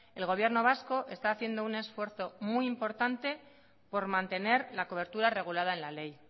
el gobierno vasco está haciendo un esfuerzo muy importante por mantener la cobertura regulada en la ley